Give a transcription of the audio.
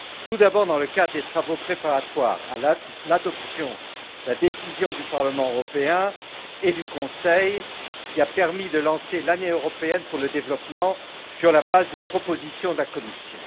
Tout d'abord, dans le cadre des travaux préparatoires à l'adoption de la décision du Parlement européen et du Conseil, qui a permis de lancer l'Année européenne pour le développement, sur la base d'une proposition de la Commission.